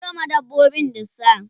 ka Sayo ma dabbobin dusa?